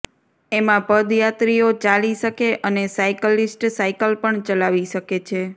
જેમાં પદયાત્રીઓ ચાલી શકે અને સાયકલીસ્ટ સાયકલ પણ ચલાવી શકે છે